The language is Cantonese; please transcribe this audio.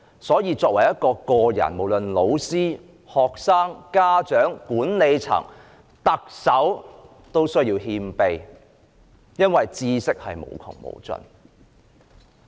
所以，作為一個人，無論是老師、學生、家長、管理層或特首，都需要謙卑，因為知識是無窮無盡的。